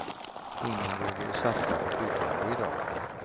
Ingen vågar ju satsa på byggande i dag.